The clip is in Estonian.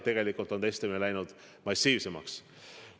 Tegelikult on testimine läinud massiivsemaks.